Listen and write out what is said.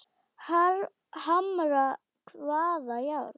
Hamra hvaða járn?